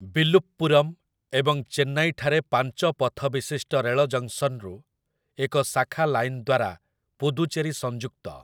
ବିଲୁପ୍ପୁରମ୍ ଏବଂ ଚେନ୍ନାଇଠାରେ ପାଞ୍ଚ ପଥବିଶିଷ୍ଟ ରେଳ ଜଙ୍କ୍‍ସନ୍‍ରୁ ଏକ ଶାଖା ଲାଇନ୍ ଦ୍ଵାରା ପୁଦୁଚେରି ସଂଯୁକ୍ତ ।